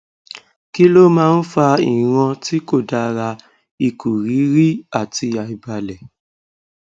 kí ló máa ń fa ìran ti ko dara ikuriri àti àìbalẹ